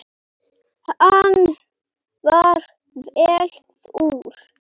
Hann var vel þurr.